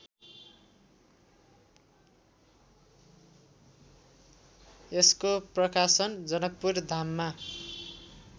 यसको प्रकाशन जनकपुरधाममा